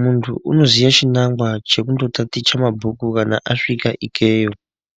muntu unoziye chinagwa chekuno taticha mabhuku kana asvika ikeyo.